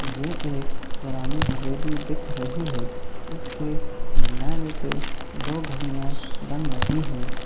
ये एक पुरानी हवेली दिख रही है इसके मिनारे पे दो घड़िया बन रही है।